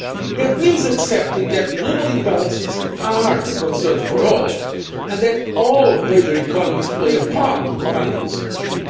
That means accepting that global imbalances are a concern for all and that all major economies play a part in finding the solution.